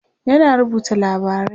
yana rubuta labarai